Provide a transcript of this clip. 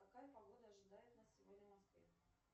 какая погода ожидает нас сегодня в москве